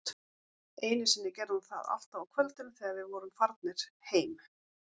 Einu sinni gerði hún það alltaf á kvöldin, þegar við vorum farnir heim